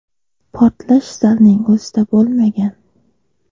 Portlash zalning o‘zida bo‘lmagan.